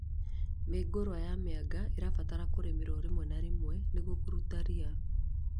Mĩũngũrwa ya mĩanga ĩbataraga kũrĩmĩrwo rĩmwe na rĩmwe nĩguo kũrũta rĩa